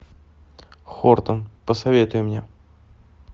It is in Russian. хортон посоветуй мне